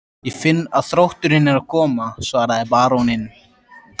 Ég finn að þrótturinn er að koma, svaraði baróninn.